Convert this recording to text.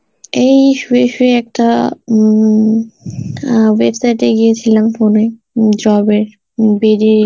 এই শুয়ে শুয়ে একটা উম অ্যাঁ website এ গিয়েছিলাম, phone এ job এর উম BD